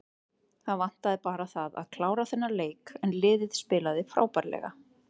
Það vantaði bara það að klára þennan leik en liðið spilaði frábærlega.